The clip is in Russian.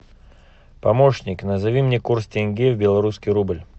помощник назови мне курс тенге в белорусский рубль